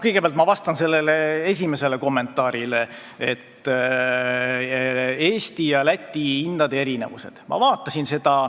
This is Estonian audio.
Kõigepealt vastan ma esimesele kommentaarile Eesti ja Läti hindade erinevuse kohta.